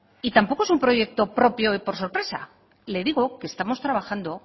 y tampoco es un proyecto propio por sorpresa le digo que estamos trabajando